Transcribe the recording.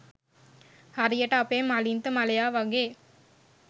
හරියට අපේ මලින්ත මලයා වගේ.